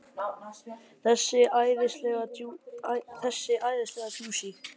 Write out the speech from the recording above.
Þessi æðislega djúsí!